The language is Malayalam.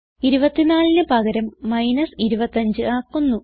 24ന് പകരം മൈനസ് 25 ആക്കുന്നു